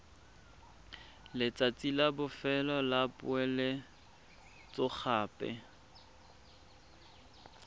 letsatsi la bofelo la poeletsogape